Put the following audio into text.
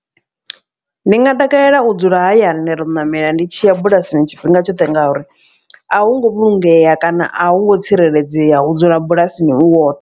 Ndi nga takalela u dzula hayani nda to ṋamela ndi tshi ya bulasini tshifhinga tshoṱhe. Ngauri a hu ngo vhulungea kana a hu ngo tsireledzea u dzula bulasini u woṱhe.